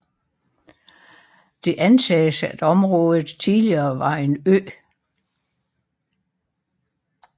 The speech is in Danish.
Det antages at området tidligere var en ø